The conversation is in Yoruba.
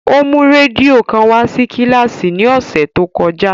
O mu rẹdio kan wa si kíláàsì ni ọsẹ to kọja.